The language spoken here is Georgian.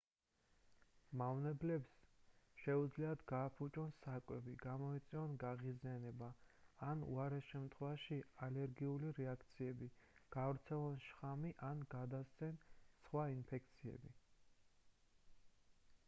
მავნებლებს შეუძლიათ გააფუჭონ საკვები გამოიწვიონ გაღიზიანება ან უარეს შემთხვევაში ალერგიული რეაქციები გაავრცელონ შხამი ან გადასცენ სხვას ინფექციები